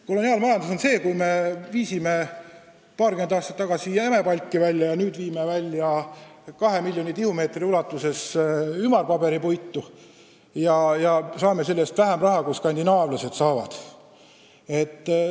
Koloniaalmajandus on see, kui me viisime paarkümmend aastat tagasi jämepalki välja ja nüüd viime välja kaks miljonit tihumeetrit ümarat paberipuitu ja saame selle eest vähem raha, kui skandinaavlased saavad.